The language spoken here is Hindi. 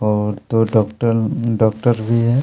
अऊ दो डॉक्टर डॉक्टर भी हे।